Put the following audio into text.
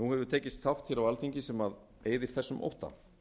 nú hefur tekist sátt hér á alþingi sem eyðir þessum ótta